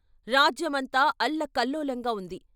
రాజ్యమంతా అల్లకల్లోలంగా వుంది.